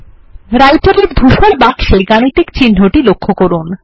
Writer এ ধূসর বাক্সে গাণিতিক চিহ্নটি লক্ষ্য করুন